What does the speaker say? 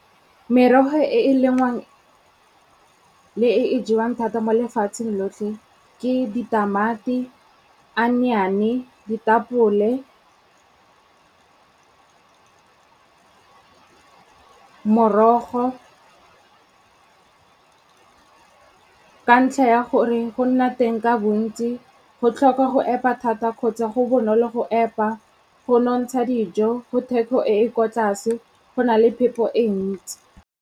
Merogo e e lengwang le e e jewang thata mo lefatsheng lotlhe ke ditamati, onion-e, ditapole, morogo. Ka ntlha ya gore go nna teng ka bontsi, go tlhoka go epa thata kgotsa go bonolo go epa, go nontsha dijo, go theko e e ko tlase, go na le phepo e ntsi.